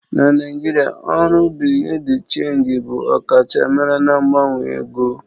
Na Naijiria, ọrụ Bị́yurị́ dị́ Chénjị bụ ọkachamara na mgbanwe ego.